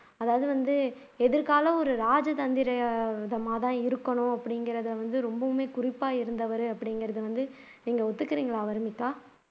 அதாவது வந்து எதிகாலம் ஒரு ராஜ தந்திர விதமாதான் இருக்கணும் அப்படிங்கிறதை வந்து ரொம்பவுமே குறிப்பா இருந்தார் அப்படிங்கிறதை நீங்க ஒத்துக்கிறீங்களா வர்னிகா